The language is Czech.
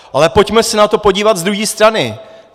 Ale pojďme se na to podívat z druhé strany.